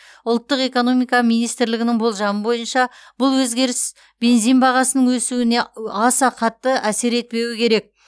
ұлттық экономика министрлігінің болжамы бойынша бұл өзгеріс бензин бағасының өсуіне аса қатты әсер етпеуі керек